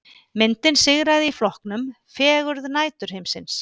Myndin sigraði í flokknum Fegurð næturhiminsins